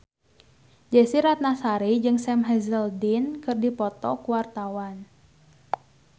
Desy Ratnasari jeung Sam Hazeldine keur dipoto ku wartawan